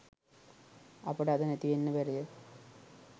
අපට අද නැතිවෙන්න බැරිද?